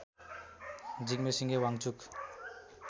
Jigme Singye Wangchuck